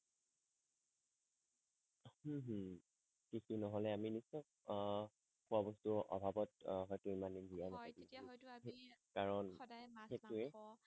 উম হম কৃষি নহলে আমি নিশ্চয় আহ খোৱা বস্তুৰ অভাৱত আহ হয়টো ইমান দিন জীয়াই নাথাকিম হয় তেতিয়া হয়টো আমি কাৰণ সদায় মাছ মাংস সেই টোৱেই